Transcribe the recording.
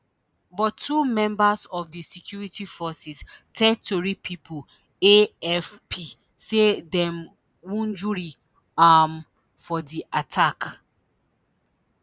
but two members of di security forces tell tori pipo afp say dem wunjure um for di attack